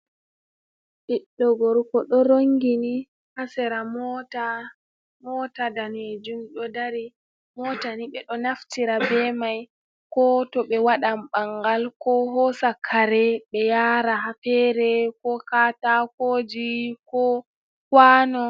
Ɓiɗɗo gorko ɗo rongini, ha sera mota. Mota ɗanejum ɗo ɗari. Motani ɓe ɗo naftira ɓe mai, ko to ɓe waɓan ɓangal, ko hosa kare ɓe yara ha fere, ko katako ji, ko kawano.